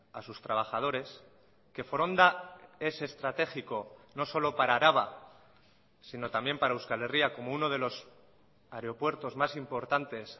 a sus trabajadores que foronda es estratégico no solo para araba sino también para euskal herria como uno de los aeropuertos más importantes